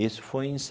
Isso foi em